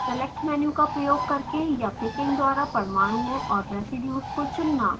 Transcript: select menu का प्रयोग करके या picking द्वारा परमाणुओं और residues को चुनना